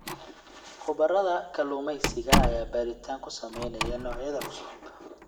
Khubarada kalluumeysiga ayaa baaritaan ku sameynaya noocyada cusub.